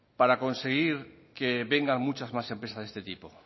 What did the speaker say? para conseguir que vengan muchas más empresas de este tipo